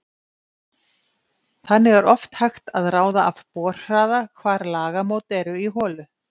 Þannig er oft hægt að ráða af borhraða hvar lagamót eru í holu.